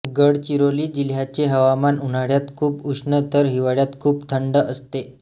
गडचिरोली जिल्ह्याचे हवामान उन्हाळ्यात खूप उष्ण तर हिवाळ्यात खूप थंड असते